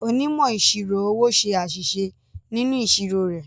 Onímọ̀ ìṣirò owó ṣe àṣìṣe nínú ìṣirò rẹ̀.